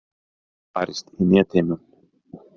Barist í Netheimum